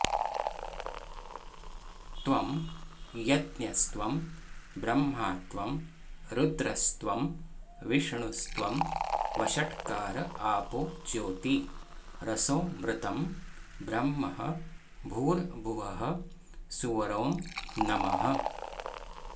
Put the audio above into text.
त्वं यज्ञस्त्वं ब्रह्मा त्वं रुद्रस्तवं विष्णुस्त्वं वषट्कार आपो ज्योती रसोऽमृतं ब्रह्म भूर्भुवः सुवरोंनमः